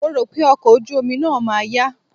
Mo rò pé ọkọ̀ ojú omi náà ma yá.